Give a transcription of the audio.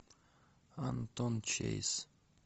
антон чейз